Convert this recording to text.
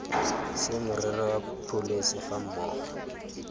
se merero ya pholesi gammogo